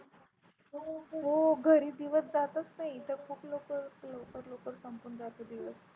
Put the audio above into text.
हो घरी दिवस जातच नाही इथे खूप लवकर लवकर लवकर संपून जाते दिवस.